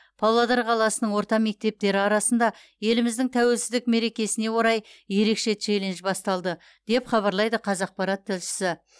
павлодар қаласының орта мектептері арасында еліміздің тәуелсіздік мерекесіне орай ерекше челлендж басталды деп хабарлайды қазақпарат тілшісі